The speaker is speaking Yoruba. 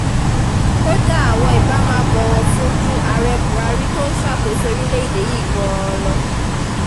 kódà wọn ibà máa bọ̀wọ̀ fún un ju ààrẹ buhari tó ń ṣàkóso orílẹ̀‐èdè yìí gan-an lọ